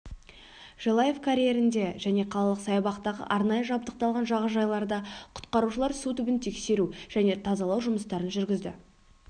желаев карьерінде және қалалық саябақтағы арнайы жабдықталған жағажайларда құтқарушылар су түбін тексеру және тазалау жұмыстарын жүргізді